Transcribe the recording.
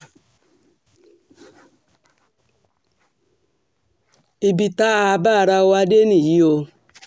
ibi tá a bá ara wa dé nìyí o